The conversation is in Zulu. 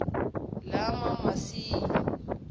lamamasayi